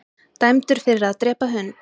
Dæmdur fyrir að drepa hund